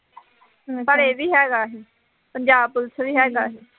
ਪਰ ਇਹ ਵੀ ਹੈਗਾ ਸੀ, ਪੰਜਾਬ ਪੁਲਿਸ ਵੀ ਹੈਗਾ ਸੀ